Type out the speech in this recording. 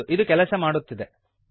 ಹೌದು ಇದು ಕೆಲಸ ಮಾಡುತ್ತಿದೆ